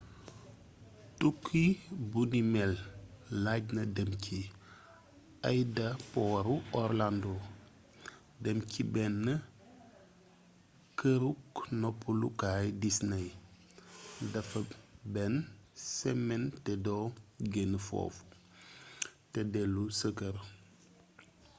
tukki bunimél lajna dém ci aydaporu orlando dém ci bénn keeruk noppalu kaayu disney déffa bénn sémén té doo génn foofu té déllu sa keer